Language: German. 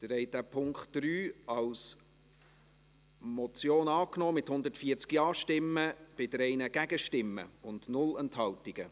Sie haben den Punkt 3 als Motion angenommen, mit 140 Ja- gegen 3 Nein-Stimmen bei 0 Enthaltungen.